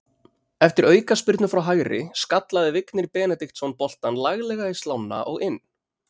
Eftir aukaspyrnu frá hægri skallaði Vignir Benediktsson boltann laglega í slánna og inn.